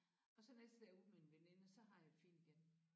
Og så næste dag er ude med en veninde og så har jeg det fint igen